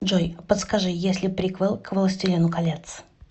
джой подскажи есть ли приквел к властелину колец